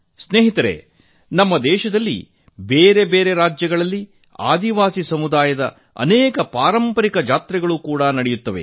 ಮಿತ್ರರೇ ನಮ್ಮ ದೇಶದಲ್ಲಿ ಬೇರೆ ಬೇರೆ ರಾಜ್ಯಗಳಲ್ಲಿ ಆದಿವಾಸಿ ಸಮುದಾಯದ ಅನೇಕ ಪಾರಂಪರಿಕ ಜಾತ್ರೆ ನಡೆಯುತ್ತವೆ